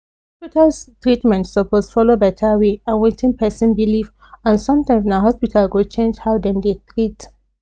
hospital treatment suppose follow better way and wetin person believe and sometimes na hospital go change how dem dey treat